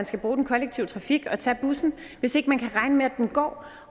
skal bruge den kollektive trafik og tage bussen hvis ikke man kan regne med at den går